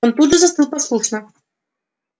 он тут же застыл послушно